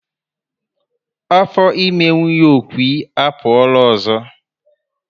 Afọ ime nwunye Okwy apuola ọzọ